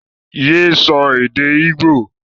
yé so èdè igbo!